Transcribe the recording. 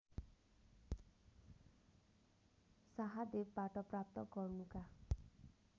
शाहदेवबाट प्राप्त गर्नुका